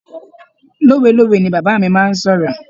Lowelowe ni bàbá mi máa ń sọ̀rọ̀.